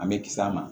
An bɛ kis'a ma